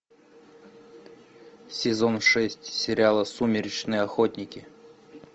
сезон шесть сериала сумеречные охотники